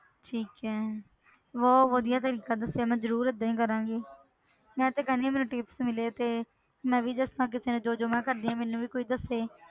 ਠੀਕ ਹੈ ਬਹੁਤ ਵਧੀਆ ਤਰੀਕਾ ਦੱਸਿਆ ਮੈਂ ਜ਼ਰੂਰ ਏਦਾਂ ਹੀ ਕਰਾਂਗੀ ਮੈਂ ਤੇ ਕਹਿੰਦੀ ਹਾਂ ਮੈਨੂੰ tips ਮਿਲੇ ਤੇ, ਮੈਂ ਵੀ ਜਿਸ ਤਰ੍ਹਾਂ ਕਿਸੇ ਨੂੰ ਜੋ ਜੋ ਮੈਂ ਕਰਦੀ ਹਾਂ ਮੈਨੂੰ ਵੀ ਕੋਈ ਦੱਸੇ।